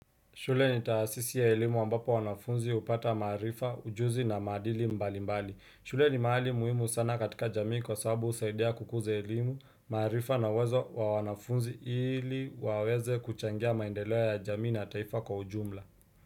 Shule ni taasisi ya elimu ambapo wanafunzi upata maarifa, ujuzi na maadili mbali mbali. Shule ni mahali muhimu sana katika jamii kwa sababu usaidia kukuza elimu, maarifa na uwezo wa nafunzi ili waweze kuchangia maendeleo ya jamii na taifa kwa ujumla.